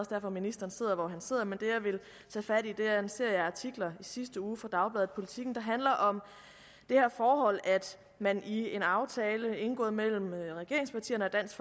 derfor ministeren sidder hvor han sidder men det jeg vil tage fat i er en serie artikler i sidste uge i dagbladet politiken der handler om det her forhold at man i en aftale indgået mellem regeringspartierne og dansk